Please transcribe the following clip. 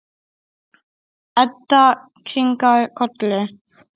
Edda kinkar kolli.